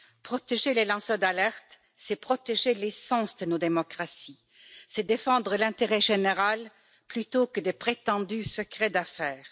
Protéger les lanceurs d'alerte, c'est protéger l'essence de nos démocraties, c'est défendre l'intérêt général plutôt que de prétendus secrets d'affaires.